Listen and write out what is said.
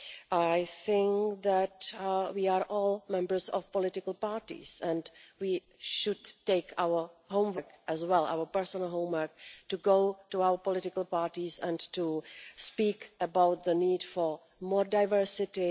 I think that we are all members of political parties and we should take it as our homework as well, our personal homework, to go to our political parties and to speak about the need for more diversity.